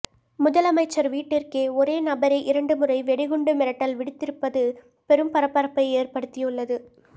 முதலமைச்சர் வீட்டிற்கே ஒரே நபரே இரண்டு முறை வெடிகுண்டு மிரட்டல் விடுத்திருப்பது பெரும் பரபரப்பை ஏற்படுத்தியுள்ளது